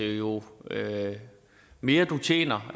jo mere du tjener